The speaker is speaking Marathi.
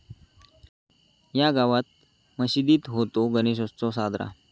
या' गावात मशिदीत होतो गणेशोत्सव साजरा